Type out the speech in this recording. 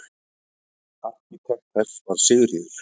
Arkitekt þess var Sigríður